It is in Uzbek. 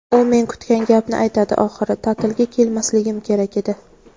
U men kutgan gapni aytadi oxiri: "Ta’tilga kelmasligim kerak edi.".